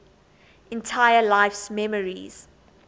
entire life's memories